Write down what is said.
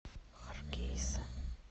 харгейса